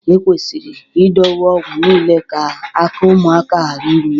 Ekwesịrị idowe ọgwụ niile ka aka ụmụaka ghara iru ya